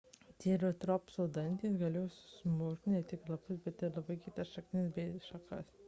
trieratopso dantys galėjo susmulkinti ne tik lapus bet ir labai kietas šakas bei šaknis